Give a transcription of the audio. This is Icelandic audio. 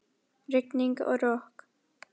Rigning og rok.